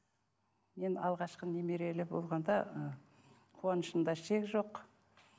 ең алғашқы немерелі болғанда ы қуанышымда шек жоқ